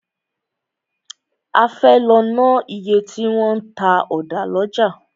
A fẹ́ lọ ná iye tí wọn ń ta ọ̀dà lọ́jà.